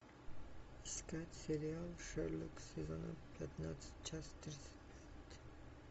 искать сериал шерлок сезон пятнадцать часть тридцать пять